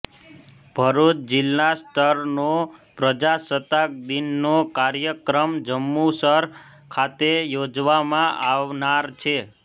ભરૃચ જિલ્લા સ્તરનો પ્રજાસત્તાક દિનનો કાર્યક્રમ જંબુસર ખાતે યોજવામાં આવનાર છે